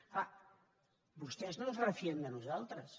és clar vostès no es refien de nosaltres